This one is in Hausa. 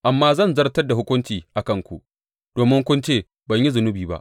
Amma zan zartar da hukunci a kanku domin kun ce, Ban yi zunubi ba.’